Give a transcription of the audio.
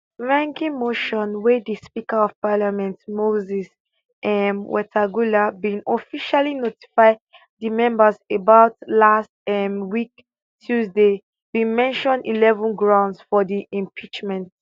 mwengi motion wey di speaker of parliament moses um wetangula bin officially notify di members about last um week tuesday bin mention eleven grounds for di impeachment